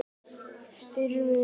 Styrmir